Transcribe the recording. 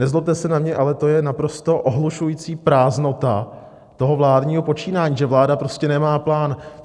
Nezlobte se na mě, ale to je naprosto ohlušující prázdnota toho vládního počínání, že vláda prostě nemá plán.